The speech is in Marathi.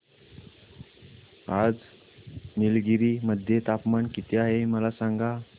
आज निलगिरी मध्ये तापमान किती आहे मला सांगा